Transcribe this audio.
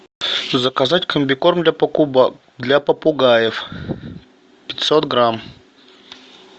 заказать комбикорм для попугаев пятьсот грамм